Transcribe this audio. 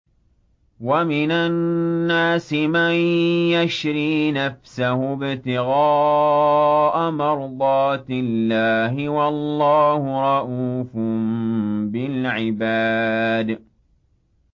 وَمِنَ النَّاسِ مَن يَشْرِي نَفْسَهُ ابْتِغَاءَ مَرْضَاتِ اللَّهِ ۗ وَاللَّهُ رَءُوفٌ بِالْعِبَادِ